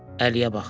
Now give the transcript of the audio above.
Əliyə baxdı.